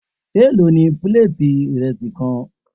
Èló ni píléètì ìrẹsì kan.?